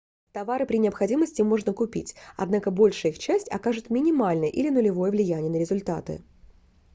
товары при необходимости можно купить однако большая их часть окажет минимальное или нулевое влияние на результаты